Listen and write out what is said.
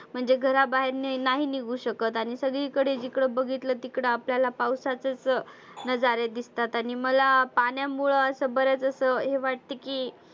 म्हणजे घराबाहेर नाही निघु शकत आणि सगळी कडे जिकडं बघितलं तिकडं आपल्याला पावसाचेचं नजारे दिसतात. आणि मला पाण्यामुळ असं बऱ्याच असं हे वाटतं की